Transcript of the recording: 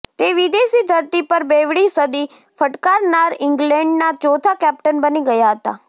તે વિદેશી ધરતી પર બેવડી સદી ફટકારનાર ઇંગ્લેન્ડના ચોથા કેપ્ટન બની ગયા હતા